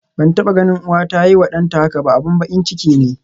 Ban taba ganin uwa ta yiwa danta haka ba, abin bakin ciki ne.